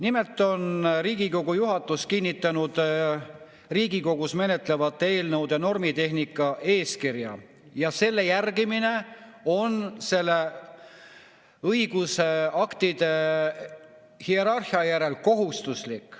Nimelt on Riigikogu juhatus kinnitanud Riigikogus menetletavate eelnõude normitehnika eeskirja ja selle järgimine on õigusaktide hierarhia kohaselt kohustuslik.